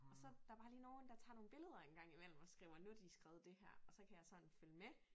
Og så der bare lige nogen der tager nogle billeder en gang imellem og skriver nu de skrevet det her og så kan jeg sådan følge med